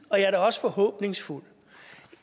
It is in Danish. og jeg er også forhåbningsfuld